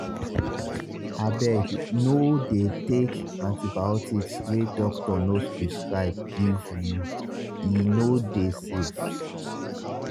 abeg no dey take antibiotics wey doctor no prescribe give youe no dey safe.